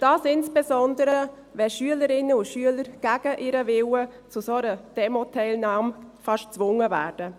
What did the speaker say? Dies insbesondere, wenn Schülerinnen und Schüler gegen ihren Willen zu einer solchen Demoteilnahme fast gezwungen werden.